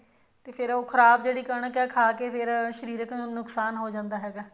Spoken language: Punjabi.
ਤੇ ਫੇਰ ਖ਼ਰਾਬ ਜਿਹੜੀ ਕਣਕ ਹੈ ਖਾ ਕੇ ਫੇਰ ਸ਼ਰੀਰਕ ਨੁਕਸਾਨ ਹੋ ਜਾਂਦਾ ਹੈਗਾ